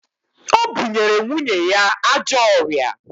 O bunyere nwunye ya ajọ ọrịa